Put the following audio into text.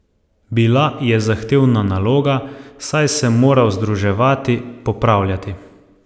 Bila je zahtevna naloga, saj sem moral združevati, popravljati.